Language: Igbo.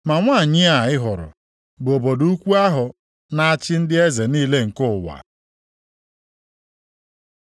Ma nwanyị a ị hụrụ bụ obodo ukwu ahụ na-achị ndị eze niile nke ụwa.”